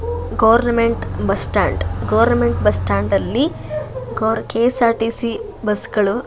government bus stand government bus stand ನಲ್ಲಿ KSRTC bus ಗಳು --